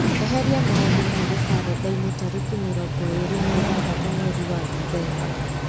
eheria maũndũ mothe karenda-inĩ tarĩki mĩrongo ĩrĩ na ithathatũ mweri wa ndithemba